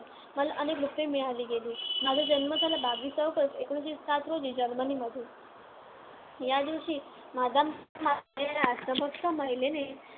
माझा जन्म झाला बावीस ऑगस्ट आकोणविससे साथ रोजी जर्मनीमध्ये. या दिवशी मादाम कामा या राष्ट्रभक्त महिलेने